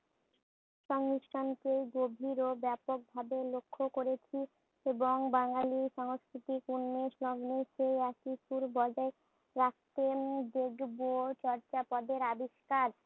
সংমিশ্রণকে গভীর ও ব্যাপকভাবে লক্ষ্য করেছি এবং বাঙ্গালীর সংস্কৃতিক উন্মেষ লগ্নের সেই একই সুর বজায় রাখতে উম দেখবো চর্চাপদের আবিস্কার।